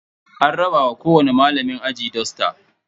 An raba wa kowani malamin aji dusta.